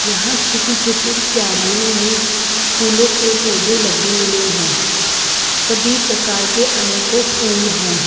यहां छोटी छोटी क्यारियों में फूलों के पौधे लगे हुए हैं सभी प्रकार के अनेकों फूल हैं।